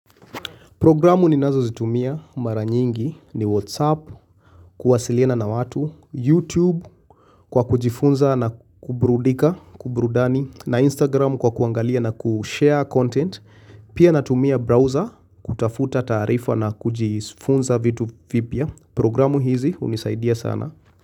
Programu ninazo lzitumia mara nyingi ni WhatsApp, kuwasiliana na watu, YouTube kwa kujifunza na kuburudika, kuburudani, na Instagram kwa kuangalia na kushare content, pia natumia browser kutafuta taarifa na kujifunza vitu vipya. Programu hizi unisaidia sana.